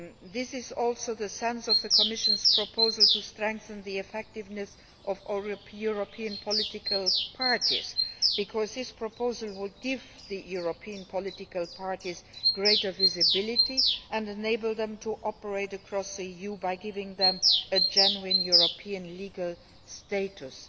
This is also the sense of the Commission's proposal to strengthen the effectiveness of all European political parties, because this proposal would give the European political parties greater visibility and enable them to operate across the EU by giving them a genuine European legal status.